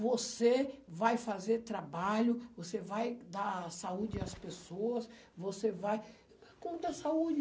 Você vai fazer trabalho, você vai dar saúde às pessoas, você vai... Como dar saúde?